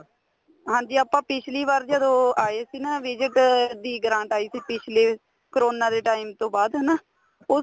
ਹਾਂਜੀ ਆਪਾਂ ਪਿੱਛਲੀ ਵਾਰ ਜਦੋਂ ਆਏ ਸੀ ਨਾ visit ਦੀ grant ਆਈ ਸੀ ਪਿੱਛਲੇ ਕਰੋਨਾ ਦੇ time ਤੋਂ ਬਾਅਦ ਹਨਾ ਉਸ